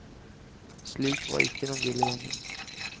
Slik var ikke den ville gjengen.